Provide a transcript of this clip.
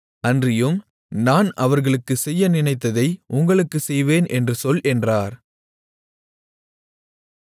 அன்றியும் நான் அவர்களுக்குச் செய்ய நினைத்ததை உங்களுக்குச் செய்வேன் என்று சொல் என்றார்